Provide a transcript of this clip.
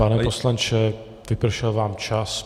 Pane poslanče, vypršel vám čas.